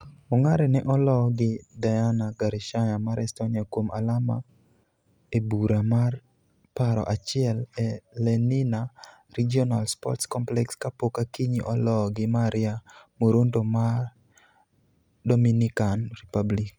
Ongare ne oloo gi Diana Gorishnaya mar Estonia kuom alama e bura mar paro achiel e Lenina Regional Sports Complex kapok Akinyi oloo gi Maria Moronto mar Dominican Republic.